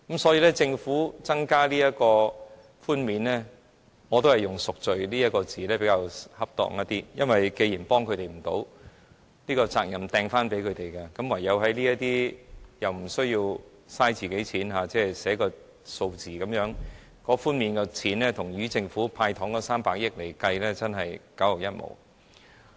所以，政府增加這項免稅額，我覺得以"贖罪"這詞語來形容較為恰當，因為既然幫不了他們，要把責任扔回給他們，便採用這不用花費政府金錢的做法，只是寫個數字便可，但寬免的金額與政府"派糖"的300億元比較，實在是九牛一毛。